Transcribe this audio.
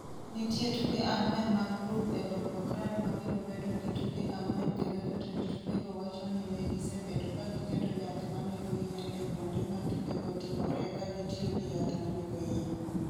Nitie tuke ang’wen mag grup e Volgograd ma biro bedo gi tuke ang’wen kendo jotend tukego wacho ni ne gisebedo ka giketo yath ma nego yien e kuonde ma tukego timoree ka gitiyo gi yath ma nego yien.